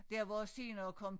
Der hvor senere kom